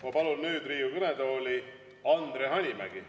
Ma palun nüüd Riigikogu kõnetooli, Andre Hanimägi.